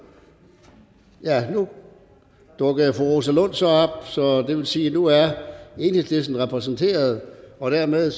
nu dukkede fru rosa lund så op så det vil sige at nu er enhedslisten repræsenteret og dermed